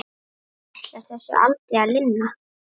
Ætlar þessu aldrei að linna?